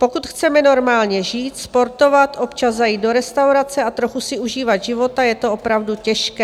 Pokud chceme normálně žít, sportovat, občas zajít do restaurace a trochu si užívat života, je to opravdu těžké.